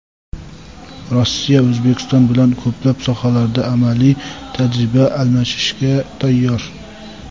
Rossiya O‘zbekiston bilan ko‘plab sohalarda amaliy tajriba almashishga tayyor.